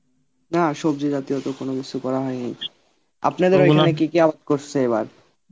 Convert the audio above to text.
না সবজি জাতীয় তো কোন কিছু করা হয়নি আপনাদের কি কি করসে এবার?